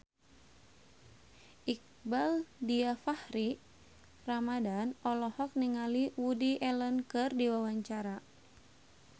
Iqbaal Dhiafakhri Ramadhan olohok ningali Woody Allen keur diwawancara